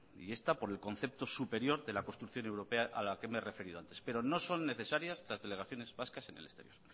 y esta por el concepto superior de la construcción europea a la que me he referido antes pero no son necesarias las delegaciones vascas en el exterior